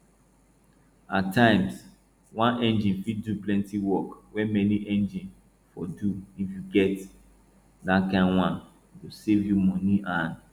at times one engine fit do plenty work wey many engines for do if you get dat kain one e go save you money and